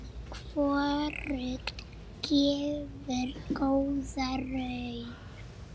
Hvorugt gefur góða raun.